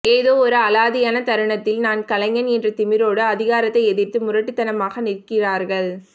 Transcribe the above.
ஏதோ ஒரு அலாதியான தருணத்தில் நான் கலைஞன் என்ற திமிரோடு அதிகாரத்தை எதிர்த்து முரட்டுத்தனமாக நிற்கிறார்கள்